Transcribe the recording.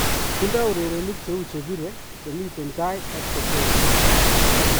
Tindo urerenik cheu chebire, chemiten tai ,ak chetere .